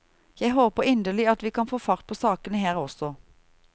Jeg håper inderlig at vi kan få fart på sakene her også.